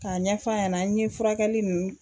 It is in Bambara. K'a ɲɛf'a ɲɛna n ye furakɛli ninnu